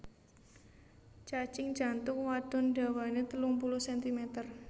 Cacing jantung wadon dawané telung puluh sentimeter